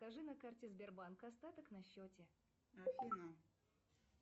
поставь телевизионный канал триста шестьдесят пять дней